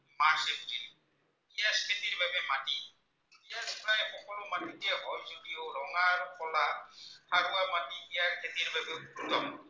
উত্তম